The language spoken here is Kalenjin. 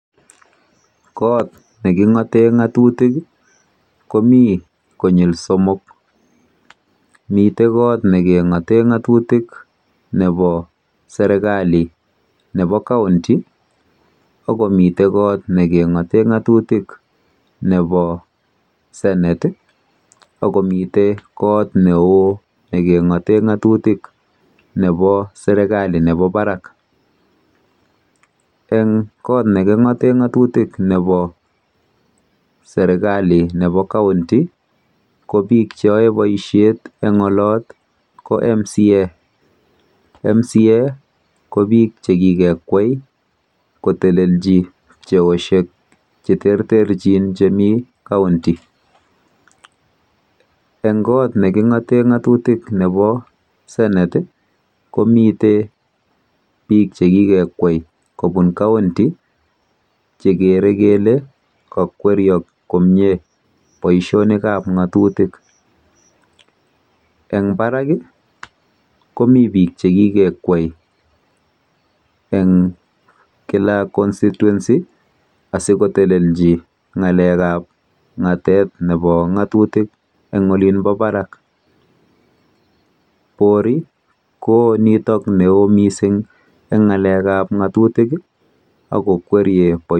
Kot nekingoten ngatutik komii konyil somok miten serkali nebo nekingoten nebo kaunti ak komii senet ak komii kot ne ngate ngatutik nebo serkali nebo barak en got nekingoten ngatutik nebo serkali nebo kaunti ko bik Che yoe boisiet en oloto ko MCA, MCA ko bik Che kikwei kotelji boisionik Che terter chemi kaunti en kot nekingoten ngatutik nebo senet ko miten bik Che ki kwei kobun kaunti chegere kele kole kokweriok komie boisionik ab ngatutik eng barak komii bik Che kikwei en kila constituency asi kotelji ngalekab ngatutik en serkalit nebo barak borii ko nito neo kot mising eng ngalekab ngatutik ak kokwerie boisionik